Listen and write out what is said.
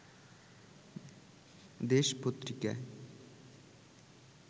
দেশ পত্রিকায়